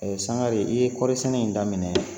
Sangare i ye kɔɔri sɛnɛ in daminɛ